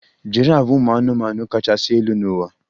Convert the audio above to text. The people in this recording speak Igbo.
Giraf bụ ụmụ anụmanụ kachasị elu n'ụwa?